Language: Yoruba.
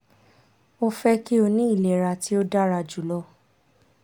o fẹ ki o ni ilera ti o dara julọ